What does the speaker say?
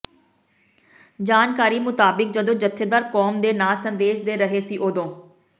ਜਾਣਕਾਰੀ ਮੁਤਾਬਿਕ ਜਦੋਂ ਜਥੇਦਾਰ ਕੌਮ ਦੇ ਨਾਂਅ ਸੰਦੇਸ਼ ਦੇ ਰਹੇ ਸੀ ਓਦੋਂ